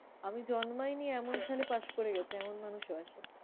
আমি জন্মাইনি এমন সালে পাশ করে গেছে এমন মানুষও আসে।